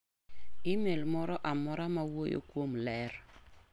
imel moro amora mawuoyo kuom ler.